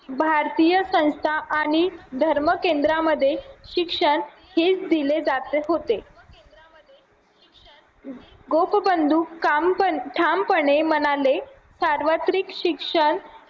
भारतीय संस्था आणि धर्म केंद्रामध्ये शिक्षण हेच दिले जाते होते गोप बंधू ठामपणे म्हणाले सार्वत्रिक शिक्षण